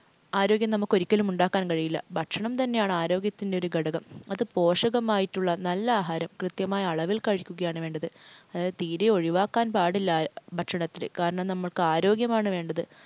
ആരോഗ്യം നമുക്കൊരിക്കലും ഉണ്ടാക്കാൻ കഴിയില്ല. ഭക്ഷണം തന്നെയാണ് ആരോഗ്യത്തിൻ്റെ ഒരു ഘടകം. പോഷകമായിട്ടുള്ള നല്ല ആഹാരം കൃത്യമായ അളവിൽ കഴിക്കുകയാണ് വേണ്ടത്. അത് തീരെ ഒഴിവാക്കാൻ പാടില്ല ഭക്ഷണത്തിനെ. കാരണം നമുക്ക് ആരോഗ്യമാണ് വേണ്ടത്.